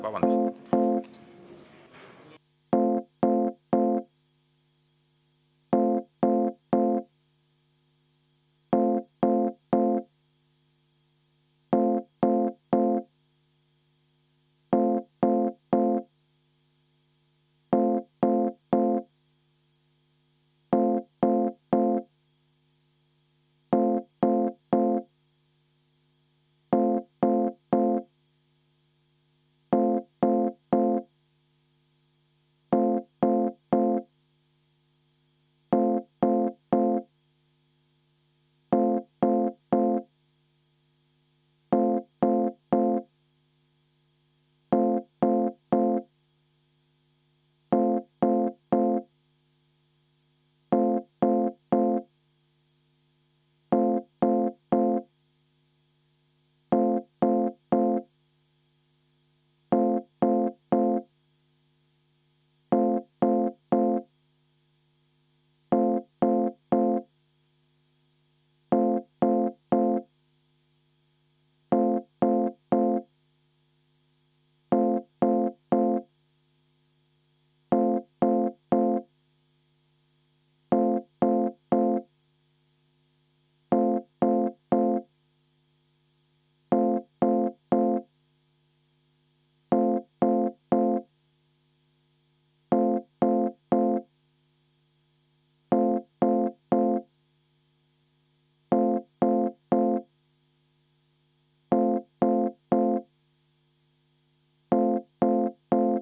Vabandust!